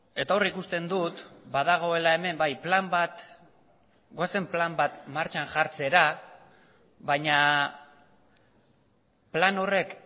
eta hor ikusten dut badagoela hemen bai plan bat goazen plan bat martxan jartzera baina plan horrek